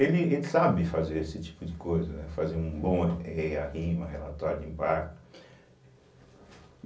Ele ele sabe fazer esse tipo de coisa, né, fazer um bom é a rima, relatório de impacto.